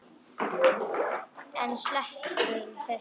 En sleppum þessu!